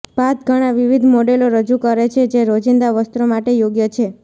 ભાત ઘણા વિવિધ મોડેલો રજૂ કરે છે જે રોજિંદા વસ્ત્રો માટે યોગ્ય છે